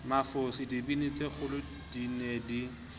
mafose dibini tsekgolodi ne di